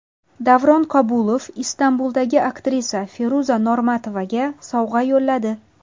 Davron Kabulov Istanbuldagi aktrisa Feruza Normatovaga sovg‘a yo‘lladi.